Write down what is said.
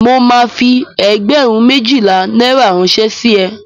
Mo máa fi ẹgbẹ̀rún méjìlá náírà ránṣẹ́ sí ẹ.